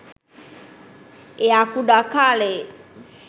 එයා කුඩා කාලේ